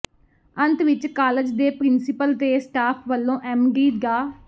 ਅੰਤ ਵਿਚ ਕਾਲਜ ਦੇ ਪਿ੍ਰੰਸੀਪਲ ਤੇ ਸਟਾਫ ਵੱਲੋਂ ਐਮਡੀ ਡਾ